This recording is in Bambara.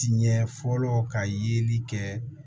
Tiɲɛ fɔlɔ ka yeli kɛ